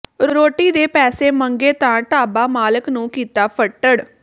ਰੋਟੀ ਦੇ ਪੈਸੇ ਮੰਗੇ ਤਾਂ ਢਾਬਾ ਮਾਲਕ ਨੰੂ ਕੀਤਾ ਫੱਟੜ